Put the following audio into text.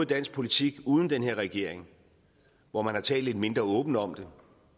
dansk politik uden den her regering hvor man har talt lidt mindre åbent om det